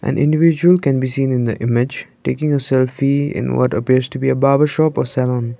an individual can be seen in the image taking a selfie in what appears to be a barber shop or salon.